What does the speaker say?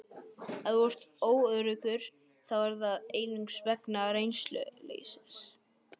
Ef þú ert óöruggur þá er það einungis vegna reynsluleysis.